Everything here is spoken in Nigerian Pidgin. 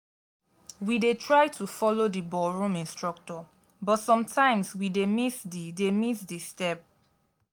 we dey try to follow di ballroom instructor but sometimes we dey miss di dey miss di step.